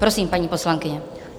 Prosím, paní poslankyně.